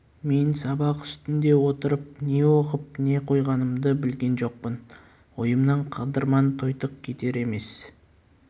мен сабақ үстінде отырып не оқып не қойғанымды білген жоқпын ойымнан қыдырман тойтық кетер емес